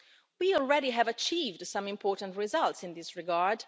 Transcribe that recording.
We already have achieved some important results in this regard.